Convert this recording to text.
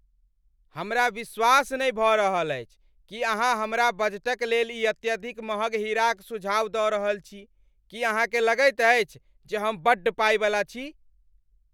हमरा विश्वास नहि भऽ रहल अछि कि अहाँ हमरा बजटक लेल ई अत्यधिक महग हीराक सुझाव दऽ रहल छी! कि अहाँकेँ लगैत अछि जे हम बड्ड पाइवला छी?